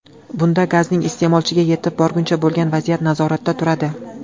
Bunda gazning iste’molchiga yetib borgunicha bo‘lgan vaziyat nazoratda turadi.